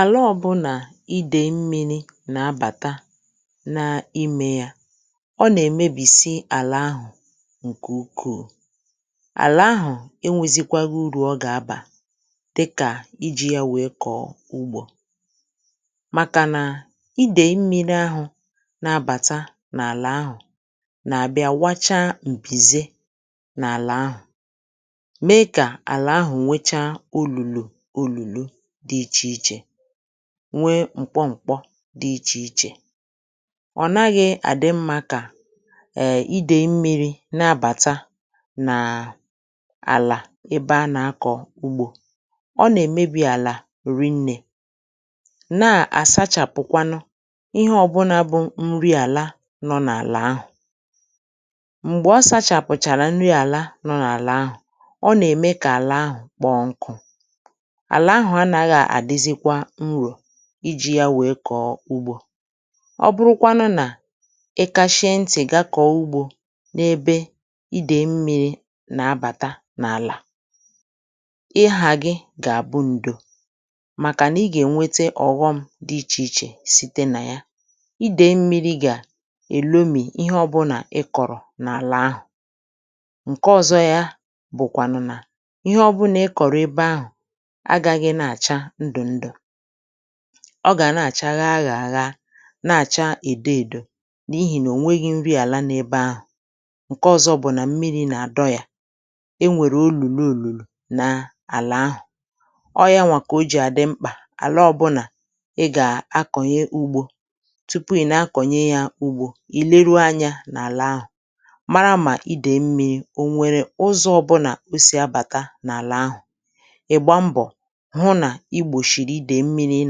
àla ọ̀bụ̀ nà idèmmi̇ni̇ nà-abàta n’imė yȧ ọ nà-èmebìsi àlà ahụ̀ ǹkè ukwuù àlà ahụ̀ enwėzikwaghi urù ọ gà-abà dịkà iji̇ ya wèe kọ̀ọ ugbȯ màkà nà idèmmi̇ni̇ n’abàta n’àlà ahụ̀ nà-àbịa wacha m̀pìze n’àlà ahụ̀ mee kà àlà ahụ̀ nwecha òlùlo dị ichè ichè nwee m̀kpọ m̀kpọ dị ichè ichè ọ̀ naghị̇ àdị mmȧ kà èè idè mmi̇ri̇ nabàta nàà àlà ebe a nà-akọ̀ ugbȯ ọ nà-èmebi àlà rinnè na-àsachàpụkwanụ ihe ọ̀bụnȧ bụ̀ nri àlà nọ n’àlà ahụ̀[um] m̀gbè ọ sachàpụ̀chàrà nri àlà nọ n’àlà ahụ̀ ọ nà-ème kà àlà ahụ̀ kpọọ nkụ̇ àlà ahụ̀ a nà-aghà àdịzịkwa nrò iji̇ ya wèe kọ̀ọ ugbȯ ọ bụrụkwanụ nà ịkȧchie ntị̀ gaa kọ̀ọ ugbȯ n’ebe idèe mmiri̇ nà-abàta n’àlà[um] ịhà gị gà-àbụ ǹdò màkà nà ị gà-ènwete ọ̀ghọm dị ichè ichè site nà ya idèe mmiri̇ gà-èlòmì ihe ọbụ̀ nà ị kọ̀rọ̀ n’àlà ahụ̀ ǹke ọzọ ya bụ̀kwànụ̀ nà ihe ọbụnà ị kọ̀rọ̀ ebe ahụ̀ ọ gà na-àcha ghaa gà-àha na-àcha èdo èdo n’ihì nà ò nweghi̇ nri àlà n’ebe ahụ̀ ǹke ọzọ bụ̀ nà mmịrị̇ nà-àdọ yȧ e nwèrè olùlù n’ùlù na-àlà ahụ̀ ọọ yȧ nwà kà o jì àdị mkpà àlà ọbụnà ị gà-akọ̀nye ugbȯ tupu ị na-akọ̀nye yȧ ugbȯ ì leru anyȧ n’àlà ahụ̀ mara mà idèe mmịrị̇ o nwèrè ụzọ̇ ọbụnà o si abàta n’àlà ahụ̀ ihu nà igbòshìrì idè mmiri̇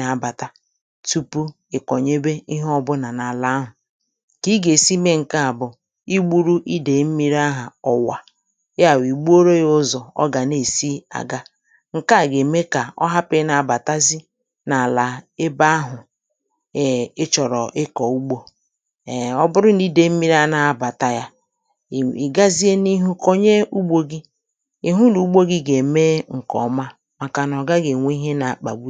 nà-abàta tupu ị̀ kọ̀nyebe ihe ọbụnà n’àlà ahụ̀ kà i gà-èsi mee ǹke à bụ̀ i gbu̇ru idè mmiri̇ ahụ̀ ọ̀wà ya bụ̀ ì gboo-ro ya ụzọ̀ ọ gà na-èsi àga ǹke à gà-ème kà ọ hapụ̀ na-abàtazi n’àlà ebe ahụ̀ ị chọ̀rọ̀ ịkọ̀ ugbȯ èe ọ bụrụ nà idè mmiri̇ a na-abàta yȧ ì gazie n’ihu kọ̀nye ugbȯ gị ị̀ hụ nà ugbȯ gị̇ gà-ème ǹkè ọma enwe ihe ihe na-akpà bu ị̀.